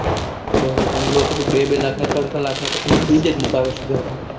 બરોબર લોકો તો બે બે લાખ ના ત્રણ ત્રણ લાખ ના ખાલી freidge મુકાવે છે ઘરમાં